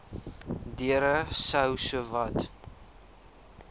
deure sou sowat